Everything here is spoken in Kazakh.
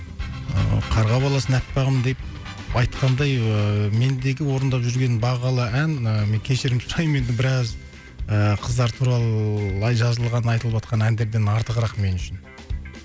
ыыы қарға баласын аппағым деп айтқандай ыыы мендегі орындап жүрген бағалы ән ы мен кешірім сұраймын енді біраз ыыы қыздар туралы жазылған айтылыватқан әндерден артығырақ мен үшін